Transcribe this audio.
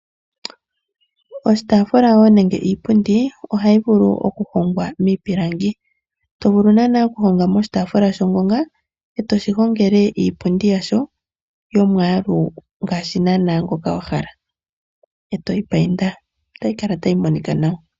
Oshitaafula wo nenge iipundi ohayi vulu okuhongwa miipilangi, to vulu naanaa okuhonga mo oshitaafula shongonga eto shi hongele iipundi yasho yomwaalu ngaashi naanaa ngoka wa hala, e to yi painda otayi kala tayi monika nawa.